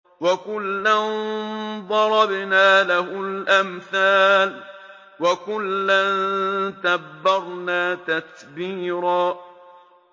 وَكُلًّا ضَرَبْنَا لَهُ الْأَمْثَالَ ۖ وَكُلًّا تَبَّرْنَا تَتْبِيرًا